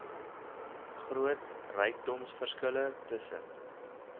groot rykdomverskille tussen